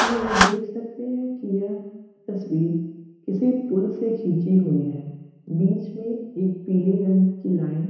हम ये देख सकते हैं की यह तस्वीर किसी पुल से खिंची हुई है। बीच में एक पीली रंग की लाइन --